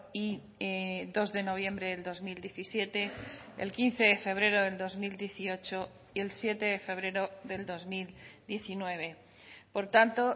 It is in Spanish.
y dos de noviembre del dos mil diecisiete el quince de febrero del dos mil dieciocho y el siete de febrero del dos mil diecinueve por tanto